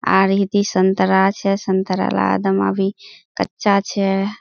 आ रही थी संतरा छै संतरा ला एकदम अभी कच्चा छै।